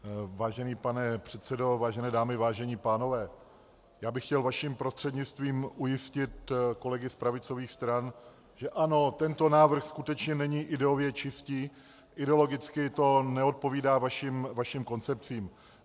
Vážený pane předsedo, vážené dámy, vážení pánové, já bych chtěl vaším prostřednictvím ujistit kolegy z pravicových stran, že ano, tento návrh skutečně není ideově čistý, ideologicky to neodpovídá vašim koncepcím.